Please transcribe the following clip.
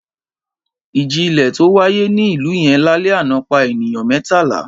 Ìjì-ilẹ̀ tó wáyé ní ìlú yẹn lálẹ́ àná pa ènìyàn mẹ́tàlá.